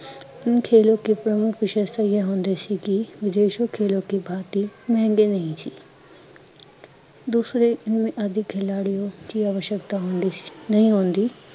ਇਨ ਖੇਲੋ ਕੇ ਪ੍ਰਮੁੱਖ ਸ਼ਸਤਰ ਯੇ ਹੁੰਦੇ ਸੀ ਕੀ ਯੀਸ਼ੁ ਖੇਲੋ ਕੇ ਭਾਅ ਤੀ ਮਹਿੰਗੇ ਨਹੀਂ ਸੀ ਦੂਸਰੇ ਇਨਮੇ ਆਦਿ ਖਿਲਾੜਿਓ ਕੀ ਅਵਸ਼ਕਤਾ ਹੁੰਦੀ ਸੀ, ਨਹੀਂ ਹੁੰਦੀ